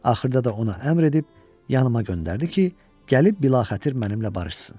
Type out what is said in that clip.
Axırda da ona əmr edib yanıma göndərdi ki, gəlib bilaxətir mənimlə barışsın.